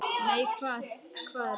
Nei, hvað er að?